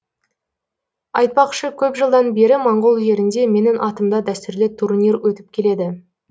айтпақшы көп жылдан бері моңғол жерінде менің атымда дәстүрлі турнир өтіп келеді